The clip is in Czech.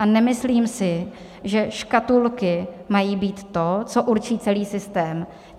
A nemyslím si, že škatulky mají být to, co určí celý systém.